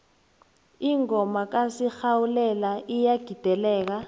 ingoma kasinghalela iyagideleka